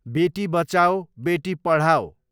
बेटी बचाओ बेटी पढाओ